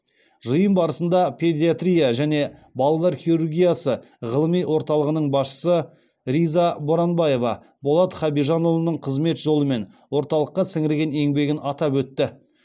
жиын барысында педиатрия және балалар хирургиясы ғылыми орталығының басшысы риза боранбаева болат хабижанұлының қызмет жолы мен орталыққа сіңірген еңбегін атап өтті